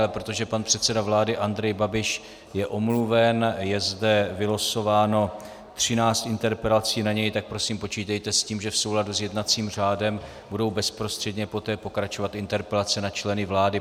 Ale protože pan předseda vlády Andrej Babiš je omluven, je zde vylosováno 13 interpelací na něj, tak prosím počítejte s tím, že v souladu s jednacím řádem budou bezprostředně poté pokračovat interpelace na členy vlády.